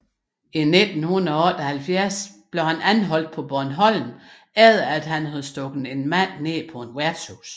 I 1978 anholdtes han på Bornholm efter at han havde stukket en mand ned på et værtshus